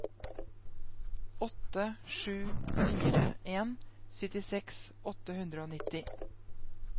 åtte sju fire en syttiseks åtte hundre og nitti